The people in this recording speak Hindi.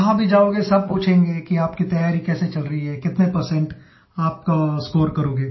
जहाँ भी जाओगे सब पूछेंगे कि आपकी तैयारी कैसी चल रही है कितने परसेंट आपका स्कोर करोगे